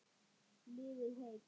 Lifið heil.